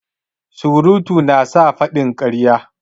Surutu na sa a faɗi ƙarya.